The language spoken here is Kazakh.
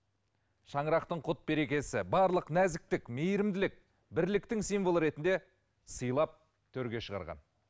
шаңырақтың құт берекесі барлық нәзіктік мейірімділік бірліктің символы ретінде сыйлап төрге шығарған